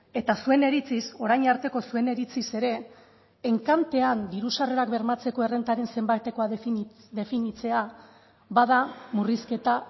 eta zuen iritziz orain arteko zuen iritziz ere enkantean diru sarrerak bermatzeko errentaren zenbatekoa definitzea bada murrizketa